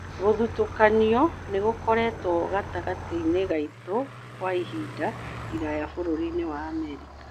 Gũthutũkanio nĩgũkoretwo gatagatĩinĩ gaitũ kwa ĩhinda iraya bũrũrinĩ wa Amerika.